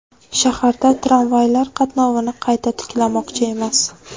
Shaharda tramvaylar qatnovini qayta tiklashmoqchi emas .